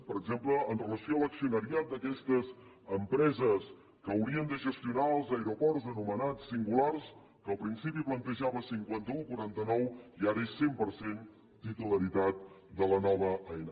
per exemple amb relació a l’accionariat d’aquestes empreses que haurien de gestionar els aeroports anomenats singulars que al principi plantejava cinquanta un quaranta nou i ara és cent per cent titularitat de la nova aena